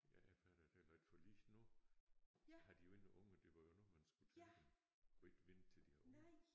Ja jeg fatter det heller ikke for lige nu har de jo ingen unger det var jo nu man skulle tage dem og ikke vente til de har unger